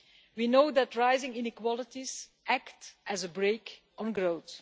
We know that rising inequalities act as a brake on growth.